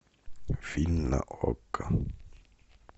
фильм на окко